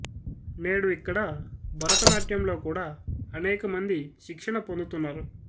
నేడు ఇక్కడ భరతనాట్యంలో కూడా అనేక మంది శిక్షణ పొందుతున్నారు